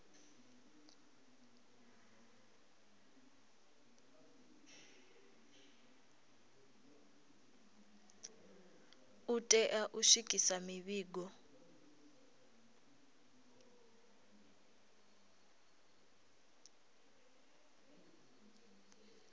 u tea u swikisa mivhigo